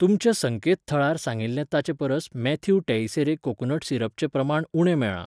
तुमच्या संकेतथळार सांगिल्लें ताचे परस मॅथ्यू टेइसेरे कोकोनट सिरपचें प्रमाण उणें मेळ्ळां.